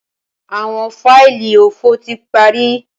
Awọn faili ofo ti pari